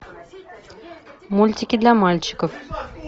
мультики для мальчиков